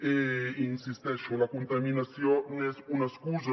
i hi insisteixo la contaminació n’és una excusa